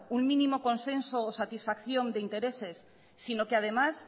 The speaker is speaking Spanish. un mínimo consenso o satisfacción de intereses sino que además